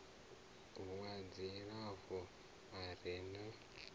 wa dzilafho a re na